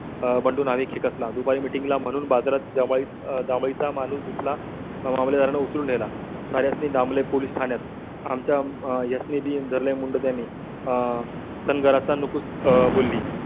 बंडू नाव एकता दुपारी मिटिंग ला म्हणून बाजारात जवळ चा माणूस दिसला पळवून नेला कार्यात दामले पोलीस ठाण्यात आमच्या शी धरल्या मुळे त्यांनी आह. पण जरा चालू बोली.